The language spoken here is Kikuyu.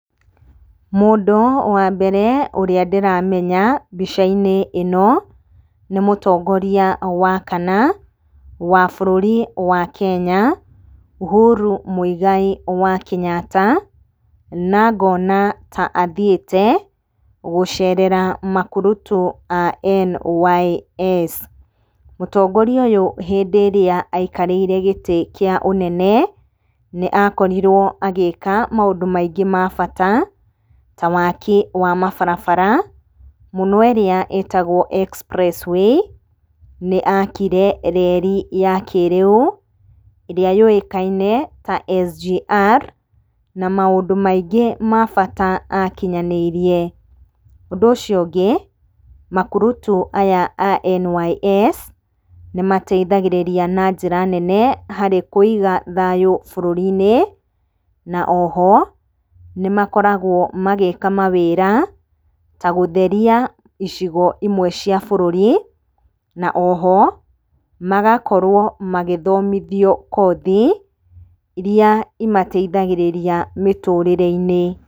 Mũndũ wa mbere ũrĩa ndĩramenya mbica-inĩ ĩno, nĩ mũtongoria wa kana wa bũrũri wa Kenya, Uhuru Mũigai wa Kenyatta. Na ngona ta athiĩte gucerera makurutu a NYS. Mũtongoria ũyũ hĩndĩ ĩrĩa aikarĩire gĩtĩ kĩa ũnene, nĩakorirwo agĩka maũndũ maingĩ ma bata, ta waki wa mabarabara, mũno ĩrĩa ĩtagwo Express Way. Nĩakire reli ya kĩrĩu, ĩrĩa yũĩkaine ta SGR, na maũndũ maingĩ ma bata akinyanĩirie. Ũndũ ũcio ũngĩ, makurutu aya a NYS nĩmateithagĩrĩria na njĩra nene harĩ kũiga thayũ bũrũrinĩ, na oho nĩmakoragwo magĩka mawĩra ta gũtheria icigo imwe cia bũrũri. Na oho, magakorwo magĩthomithio kothi iria imateithagĩrĩria mĩtũrĩre-inĩ.